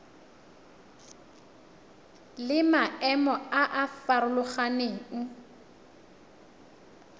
le maemo a a farologaneng